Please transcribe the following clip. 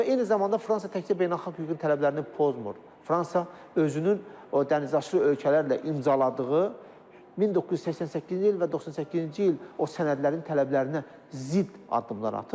Və eyni zamanda Fransa təkcə beynəlxalq hüququn tələblərini pozmur, Fransa özünün o dəniz aşırı ölkələrlə imzaladığı 1988-ci il və 98-ci il o sənədlərin tələblərinə zidd addımlar atır.